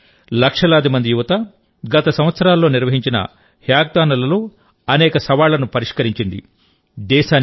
దేశంలోని లక్షలాది మంది యువతగత సంవత్సరాల్లో నిర్వహించిన హ్యాకథాన్ లలో అనేక సవాళ్లను పరిష్కరించింది